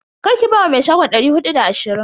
Karki ba wa me shagon dari hudu da ashirin.